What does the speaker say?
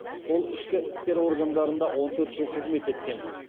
ол ішкі істер органдарында он төрт жыл қызмет еткен